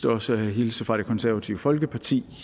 også at hilse fra det konservative folkeparti